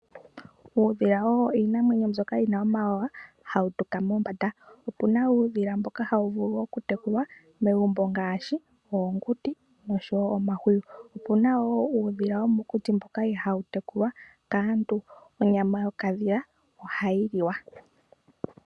Uudhila owo iinamwenyo mbyoka wuna omawawa, hawu tuka mombanda. Opuna woo uudhila mboka hawu vulu okutekulwa megumbo ngaashi oonguti nosho wo omahwiyu. Opuna wo uudhila womokuti ihaa wutekulwa kaantu. Onyama yo kakadhila, ohayi liwa.